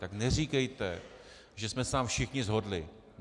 Tak neříkejte, že jsme se tam všichni shodli.